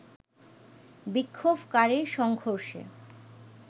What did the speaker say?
বিক্ষোভকারীর সংঘর্ষে